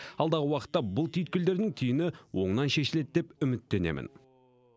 алдағы уақытта бұл түйткілдердің түйіні оңынан шешіледі деп үміттенемін